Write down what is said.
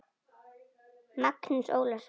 Magnús Ólason.